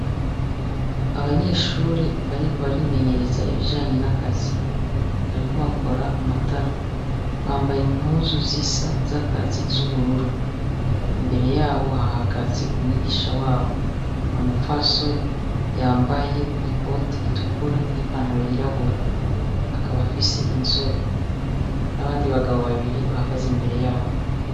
Abanyeshure bariko barimenyereza ibijanye n'akazi, bariko bakora matara, bambaye impuzu zisa z'akazi z'ubururu, imbere yabo hahagaze umwigisha wabo n'umupfasoni, yambaye ikoti itukura n'ipantaro y'irabura akaba afise inzobe, n'abandi bagabo babiri bahagaze imbere yabo.